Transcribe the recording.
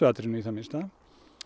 atrennu í það minnsta